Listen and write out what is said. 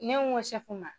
Ne ko